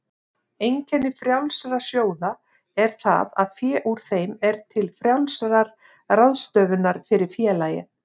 Einkenni frjálsra sjóða er það að fé úr þeim er til frjálsrar ráðstöfunar fyrir félagið.